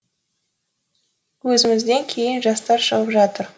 өзімізден кейін жастар шығып жатыр